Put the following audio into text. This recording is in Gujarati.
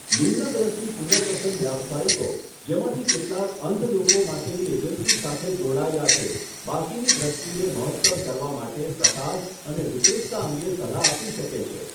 નિમ્ન દ્રષ્ટિ પુનર્વસન વ્યાવસાયિકો, જેમાંથી કેટલાક અંધ લોકો માટેની એજન્સી સાથે જોડાયેલા છે, બાકીની દ્રષ્ટિને મહત્તમ કરવા માટે પ્રકાશ અને વિપરીતતા અંગે સલાહ આપી શકે છે.